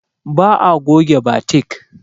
Ba'a goge batik.